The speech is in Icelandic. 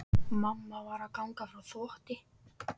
Mamma var að ganga frá þvotti.